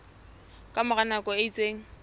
ka mora nako e itseng